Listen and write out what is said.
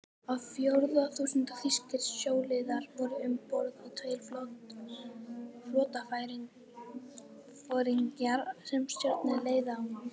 Á fjórða þúsund þýskir sjóliðar voru um borð og tveir flotaforingjar, sem stjórnuðu leiðangrinum.